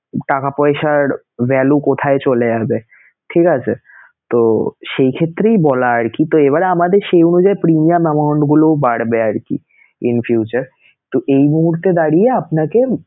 টাকা পয়সার value কোথায় চলে যাবেঠিক আছে? তো সেই ক্ষেত্রেই বলা আরকি, তো এইবারে আমাদের সেই অনুযায়ী premium amount গুলোও বাড়বে আরকি in future তো এই মুহূর্তে দাঁড়িয়ে আপনাকে